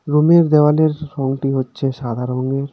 রুমের দেওয়ালের রংটি হচ্ছে সাদা রঙের .